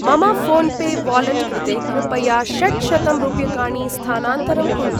मम PhonePe wallet कृते कृपया षट्शतं रूप्यकाणि स्थानान्तरं कुरु।